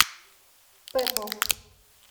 пэпэл